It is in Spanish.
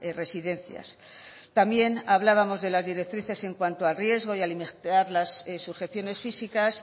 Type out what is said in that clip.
residencias también hablábamos de las directrices en cuanto al riesgo y las sujeciones físicas